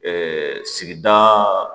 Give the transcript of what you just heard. sigidaa